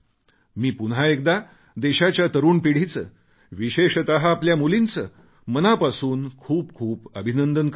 मी पुन्हा एकदा देशाच्या तरुण पिढीचे विशेषत आपल्या मुलींचे मनापासून खूपखूप अभिनंदन करतो